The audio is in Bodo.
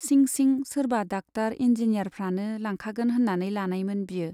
सिं सिं सोरबा डाक्टार इन्जिनियारफ्रानो लांखागोन होन्नानै लानायमोन बियो।